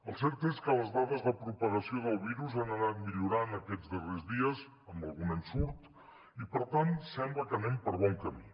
el cert és que les dades de propagació del virus han anat millorant aquests darrers dies amb algun ensurt i per tant sembla que anem per bon camí